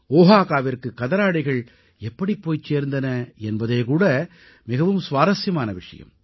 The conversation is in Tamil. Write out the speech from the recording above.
ஓஹாகாவிற்கு கதராடைகள் எப்படி போய்ச் சேர்ந்தன என்பதே கூட மிகவும் சுவாரசியமான விஷயம்